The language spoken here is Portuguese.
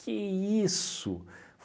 Que isso?